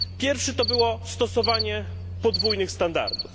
Pierwszy to stosowanie podwójnych standardów.